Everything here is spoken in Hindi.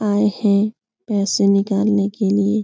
आये है पैसे निकालने के लिए।